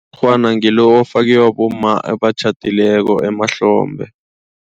ngilo ofakwa bomma abatjhadileko emahlombe.